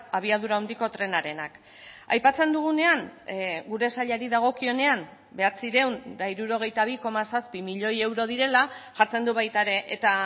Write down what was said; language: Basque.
abiadura handiko trenarenak aipatzen dugunean gure sailari dagokionean bederatziehun eta hirurogeita bi koma zazpi milioi euro direla jartzen du baita ere eta